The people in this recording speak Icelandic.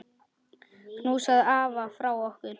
Knúsaðu afa frá okkur.